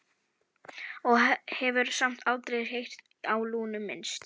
Og hefur samt aldrei heyrt á Lúnu minnst?